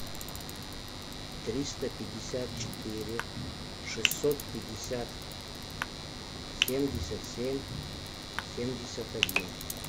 триста пятьдесят четыре шестьсот пятьдесят семьдесят семь семьдесят один